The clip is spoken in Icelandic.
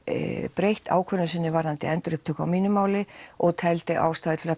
breytt ákvörðun sinni varðandi endurupptöku á mínu máli og teldi ástæðu til